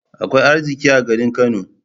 Akwai arziƙi a garin Kano.